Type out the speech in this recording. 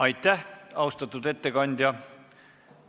Aitäh, austatud ettekandja!